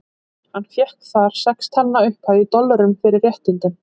Hann fékk þar sex talna upphæð, í dollurum, fyrir réttindin.